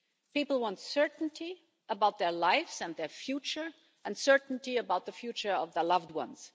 People want certainty about their lives and their future and certainty about the future of their loved ones.